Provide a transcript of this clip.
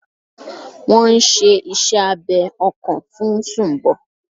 Wọ́n n ṣe iṣẹ́ abẹ ọkàn fún Sumbo